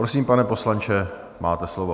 Prosím, pane poslanče, máte slovo.